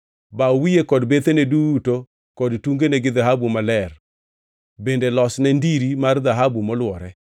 Baw wiye kod bethene duto kod tungene gi dhahabu maler bende losne ndiri mar dhahabu molwore.